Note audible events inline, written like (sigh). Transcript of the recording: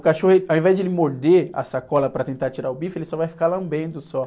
O cachorro, (unintelligible) ao invés de ele morder a sacola para tentar tirar o bife, ele só vai ficar lambendo só.